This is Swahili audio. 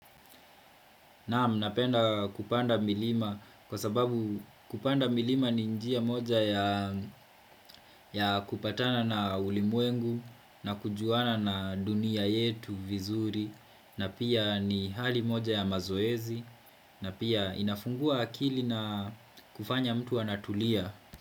Naam napenda kupanda milima kwa sababu kupanda milima ni njia moja ya kupatana na ulimwengu na kujuana na dunia yetu vizuri na pia ni hali moja ya mazoezi na pia inafungua akili na kufanya mtu anatulia.